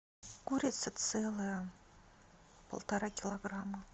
курица целая полтора килограмма